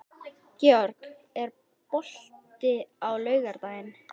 Georg, er bolti á laugardaginn?